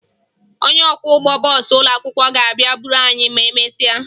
Onye ọkwọụgbọ bọọsụ ụlọakwụkwọ ga-abịa buru anyị ma emesịa